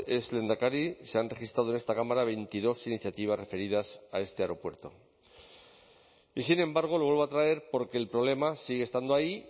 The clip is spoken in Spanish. es lehendakari se han registrado en esta cámara veintidós iniciativas referidas a este aeropuerto y sin embargo lo vuelvo a traer porque el problema sigue estando ahí